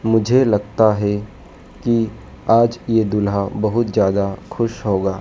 मुझे लगता है कि आज ये दूल्हा बहुत ज्यादा खुश होगा।